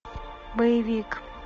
боевик